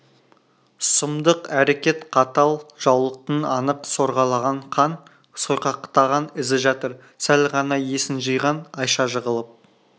сұмдық әрекет қатал жаулықтың анық сорғалаған қан сойқақтаған ізі жатыр сәл ғана есін жиған айша жығылып